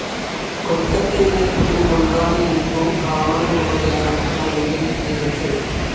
കൊൽക്കത്തയിലെ ഒരു ബംഗാളി ഹിന്ദു ബ്രാഹ്മണകുടുംബത്തിലാണ് അരുന്ധതി ജനിച്ചത്.